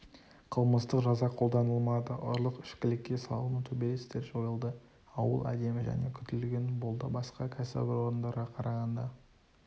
қылмыстық жаза қолданылмады ұрлық ішкілікке салыну төбелестер жойылды ауыл әдемі және күтілген болды басқа кәсіпорындарға қарағанда